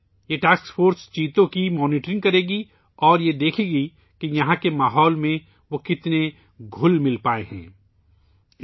یہ task force چیتوں کی نگرانی کرے گی اور دیکھے گی کہ وہ یہاں کے ماحول میں کتنا گھل مل جانے میں کامیاب رہے ہیں